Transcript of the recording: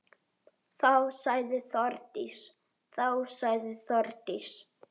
Þá sagði Þórdís: